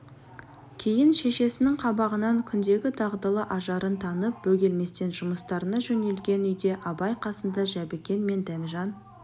кейін шешесінің қабағынан күндегі дағдылы ажарын танып бөгелместен жұмыстарына жөнелген үйде абай қасында жәбікен мен дәмежан